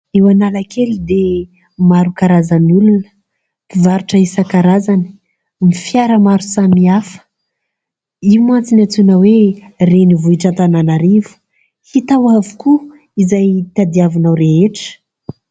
Eo Analakely dia maro karazan'olona mpivarotra isan-karazany, ny fiara maro samihafa. Io mantsy no antsoina hoe renivohitr' Antananarivo : hita ao avokoa izay tadiavinao rehetra.